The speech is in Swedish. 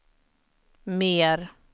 mer